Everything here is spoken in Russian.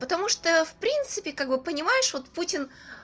потому что в принципе как бы понимаешь вот путин